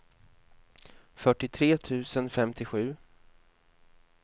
fyrtiotre tusen femtiosju